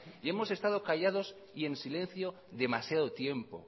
y hemos estado callados y en silencio demasiado tiempo